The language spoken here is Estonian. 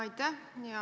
Aitäh!